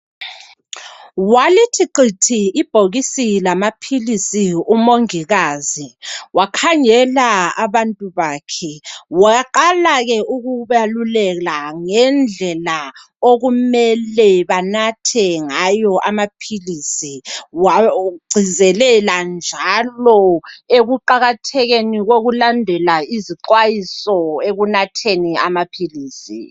Walithi qithi ibhokisi lamaphilisi umongikazi. Wakhangela abantu bakhe, waqala ke ukubalulela ngendlela okumele banathe ngayo amaphilisi. Wagcizelela njalo ekuqakathekeni kokulandela izixwayiso ekunatheni amaphilisi.